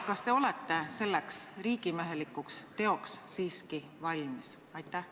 Kas te olete selleks riigimehelikuks teoks siiski valmis?